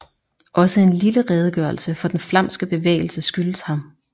Også en lille redegørelse for den flamske bevægelse skyldes ham